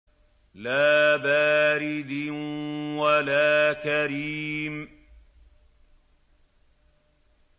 لَّا بَارِدٍ وَلَا كَرِيمٍ